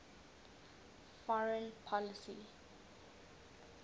foreign policy